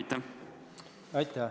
Aitäh!